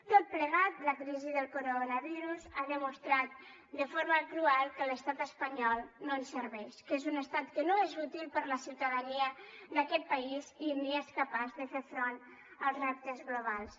tot plegat la crisi del coronavirus ha demostrat de forma cruel que l’estat espanyol no ens serveix que és un estat que no és útil per a la ciutadania d’aquest país i ni és capaç de fer front als reptes globals